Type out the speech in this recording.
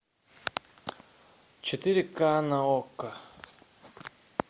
четыре ка на окко